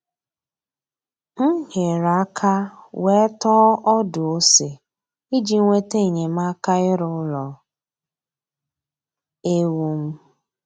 M nyere aka wee tọọ ọdụ ose iji nweta enyemaka ịrụ ụlọ ewu m